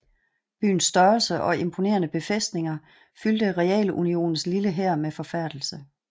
Byens størrelse og imponerende befæstninger fyldte Realunionens lille hær med forfærdelse